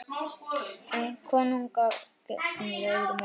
Um konunga gegnir öðru máli.